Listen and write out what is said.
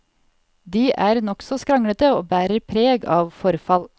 De er nokså skranglete og bærer preg av forfall.